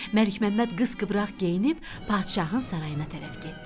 Məlikməmməd qıppıraq geyinib padşahın sarayına tərəf getdi.